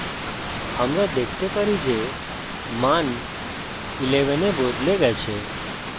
আমরা দেখতে পারি যে মান 11 we বদলে গেছে